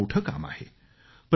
हे खूप मोठं काम आहे